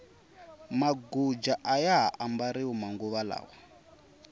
maguja aya ha mbariwi manguva lawa